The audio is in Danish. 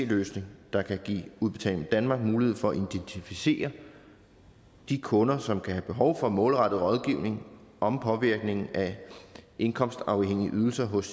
løsning der kan give udbetaling danmark mulighed for at identificere de kunder som kan have behov for målrettet rådgivning om påvirkningen af indkomstafhængige ydelser hos